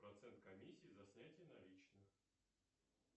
процент комиссии за снятие наличных